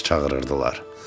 Talış çağırırdılar.